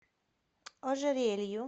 ожерелью